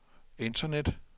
internet